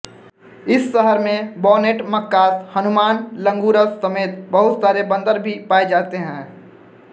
इस शहर में बॉनेट मकाक्स हनुमान लंगूरस समेत बहुत सारे बंदर भी पाए जाते हैं